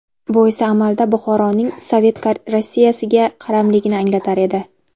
Bu esa amalda Buxoroning Sovet Rossiyasiga qaramligini anglatar edi.